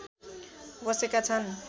बसेका छन्